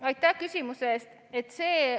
Aitäh küsimuse eest!